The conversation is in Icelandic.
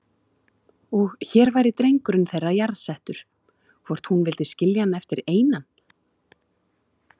Og hér væri drengurinn þeirra jarðsettur, hvort hún vildi skilja hann eftir einan?